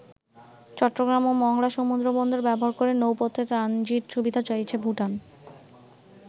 চট্টগ্রাম ও মংলা সমুদ্রবন্দর ব্যবহার করে নৌপথে ট্রানজিট সুবিধা চাইছে ভুটান।